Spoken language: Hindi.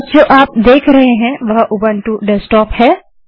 आप जो अब देख रहे हैं वह उबंटू डेस्कटॉप है